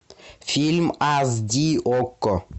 фильм аш ди окко